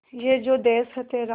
ये जो देस है तेरा